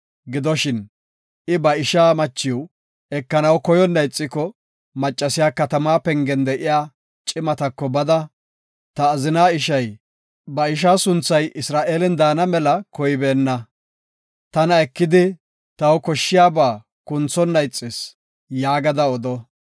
Gidoshin, I ba ishaa machiw ekanaw koyona ixiko, maccasiya katamaa pengen de7iya cimatako bada, “Ta azinaa ishay ba ishaa sunthay Isra7eelen daana mela koybeenna; tana ekidi, taw koshshiyaba kunthonna ixis” yaagada odo.